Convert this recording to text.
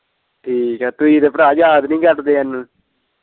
ਠੀਕ ਤੇ ਤੁਹੀਂ ਤੇ ਭਰਾ ਯਾਦ ਨੀ ਕਰਦੇ ਹਾਨੂੰ।